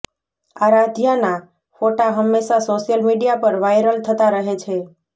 આરાધ્યાના ફોટા હંમેશા social media પર વાયરલ થતા રહે છે